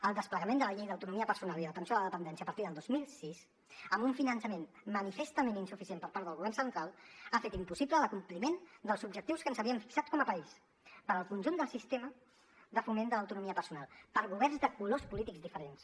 el desplegament de la llei d’autonomia personal i atenció a la dependència a partir del dos mil sis amb un finançament manifestament insuficient per part del govern central ha fet impossible l’acompliment dels objectius que ens havíem fixat com a país per al conjunt del sistema de foment de l’autonomia personal per governs de colors polítics diferents